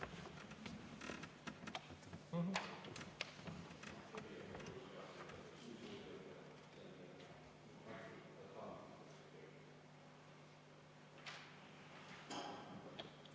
Aitäh!